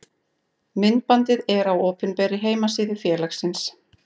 Myndbandið er á opinberri heimasíðu félagsins.